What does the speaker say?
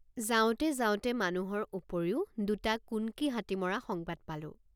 যাওঁতে যাওঁতে মানুহৰ উপৰিও দুটা কুন্কী হাতী মৰা সংবাদ পালোঁ।